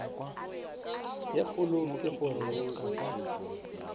ye kgolo ke go re